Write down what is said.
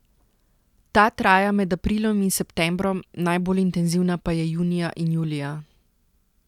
Ta traja med aprilom in septembrom, najbolj intenzivna pa je junija in julija.